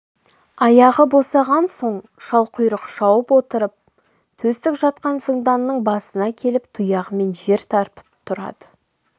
аяғы босаған соң шалқұйрық шауып отырып төстік жатқан зынданның басына келіп тұяғымен жер тарпып тұрады